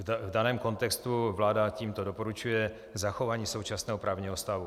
V daném kontextu vláda tímto doporučuje zachování současného právního stavu.